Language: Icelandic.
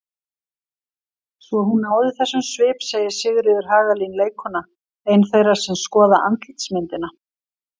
Svo hún náði þessum svip segir Sigríður Hagalín leikkona, ein þeirra sem skoða andlitsmyndina.